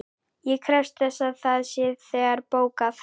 Ég krefst þess að það sé þegar bókað.